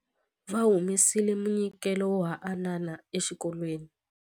Va humesile munyikelo wo haanana exikolweni.